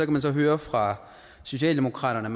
man så høre fra socialdemokraterne at